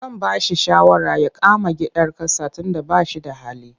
Zan ba shi shawara ya kama hayar gidan ƙasa tunda ba shi da hali.